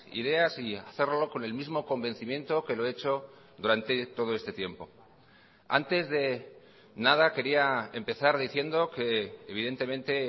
ideas y hacerlo con el mismo convencimiento que lo he hecho durante todo este tiempo antes de nada quería empezar diciendo que evidentemente